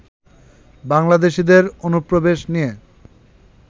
বাংলাদেশীদের অনুপ্রবেশ নিয়ে